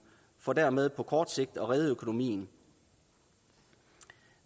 for dermed på kort sigt at redde økonomien